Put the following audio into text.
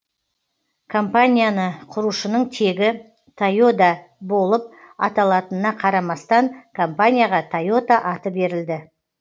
компанияны құрушының тегі тойода болып аталатынына қарамастан компанияға тойота аты берілді